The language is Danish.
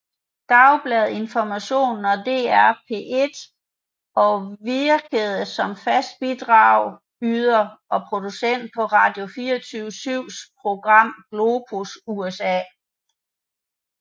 Dagbladet Information og DR P1 og virkede som fast bidragyder og producent på Radio24syvs program Globus USA